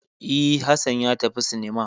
E, Hassan ya tafi cinema.